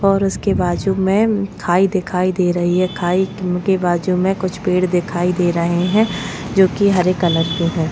और उसके बाजू में खाई दिखाई दे रही है खाई के बाजू में कुछ पेड़ दिखाई दे रहे है जो की हरे कलर के है।